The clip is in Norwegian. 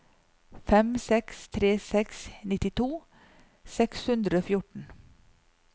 fem seks tre seks nittito seks hundre og fjorten